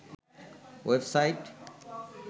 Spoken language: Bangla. web site